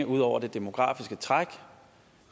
ud over det demografiske træk